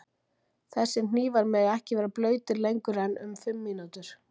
Þessir hnífar mega ekki vera blautir lengur en um fimm mínútur.